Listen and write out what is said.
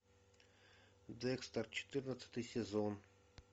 декстер четырнадцатый сезон